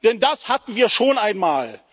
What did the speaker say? Denn das hatten wir schon einmal.